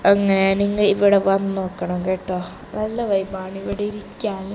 അങ്ങനെയങ്ങ് ഇവിടെ വന്നോക്കണം കേട്ടോ നല്ല വൈബ് ആണ് ഇവിടെ ഇരിക്കാന്.